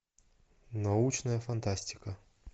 научная фантастика